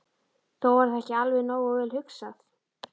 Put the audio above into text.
Þó var það ekki alveg nógu vel hugsað.